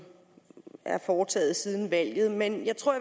er foretaget siden valget men jeg tror